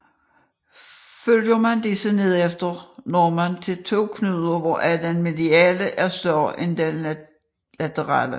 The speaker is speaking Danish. Følger man disse nedefter når man til to knuder hvoraf den mediale er større end den laterale